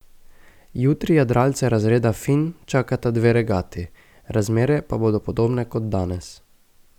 Jutri jadralce razreda finn čakata dve regati, razmere pa bodo podobne kot danes.